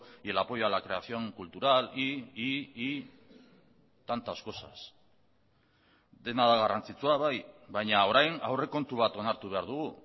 y el apoyo a la creación cultural y tantas cosas dena da garrantzitsua bai baina orain aurrekontu bat onartu behar dugu